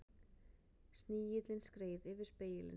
Snigillinn skreið yfir spegilinn.